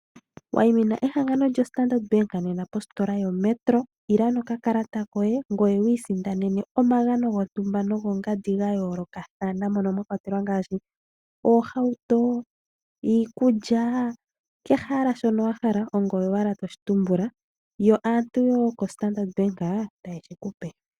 Wayimina ehangano lyoStarndard bank nena positola yoMetro ila nokakalata koye, ngoye wi isindanene omagano gontumba nogongandi gayoolokathana mono mwakwatelwa ngaashi oohauto, iikulya kehe owala shono wahala ongoye mwene toshi tumbula, yo aantu yokoStarndard bank taye shi kupe.